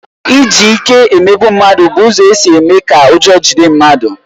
Iji ike emegbu mmadụ bụ ụzọ isi mee ka ụjọ jide mmadụ